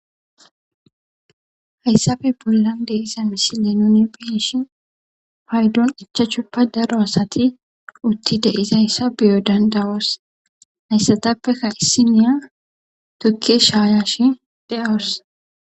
hayssafe bollan deiza mishile nuni beeshi paydon ichachuppa daro asati utti deizayssa biyo dandawas hayssatappekka issiniya tukke shaayashi de7awos